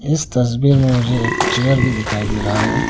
इस तस्वीर में मुझे एक चेयर भी दिखाई दे रहा है।